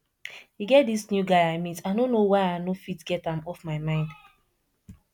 e get dis new guy i meet i no know why i no fit get am off my mind